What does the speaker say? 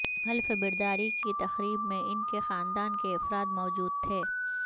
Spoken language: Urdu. حلف برداری کی تقریب میں ان کے خاندان کے افراد موجود تھے